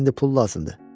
Sənə indi pul lazımdır?